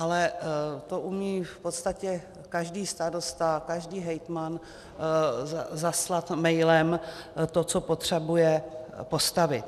Ale to umí v podstatě každý starosta, každý hejtman zaslat mailem to, co potřebuje postavit.